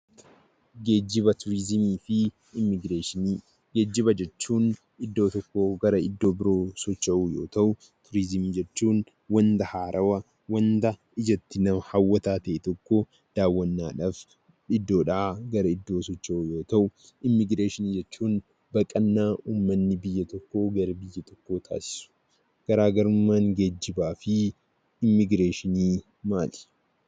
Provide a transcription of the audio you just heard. Geejjiba, turizimii fi immigireeshinii. Geejjiba jechuun iddoo tokkoo gara iddoo biroo socho'uu yoo ta'uu; turizimii jechuun wanta haarawwaa wanta ijatti nama hawwataa ta'ee tokko daawwannaadhaaf iddoodhaa gara iddoo biraatti yoo ta'u; immigireeshinii jechuun immoo baqannaa uummanni biyya tokkoo gara biyya biraatti taasisuudha. Garaagarummaan geejjibaa, turizimii fi immigireeshinii maal?